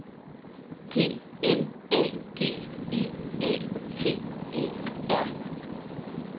P L A G I A T E R